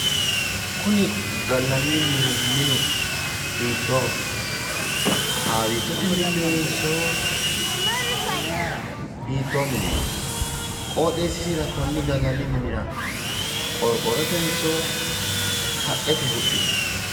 Kuni gallannihu minu hiittooho? haawittote minnoonnoyiihonso hittoo mineeti? qooxeessisira konni gallanni minira qororrotenso haqqete huxxinoyi?